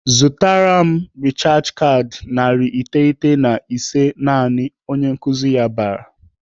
"Zụta rechaj kaadị narị iteghete na ise naanị!" Onye nkuzi ya bara.